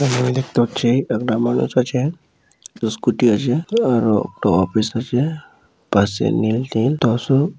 আমি দেখতে পাচ্ছি একটা মানুষ আছ স্কুটি আছে আর-ও একটা অফিস আছে পাশে মিলটিল।